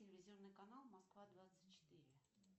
телевизионный канал москва двадцать четыре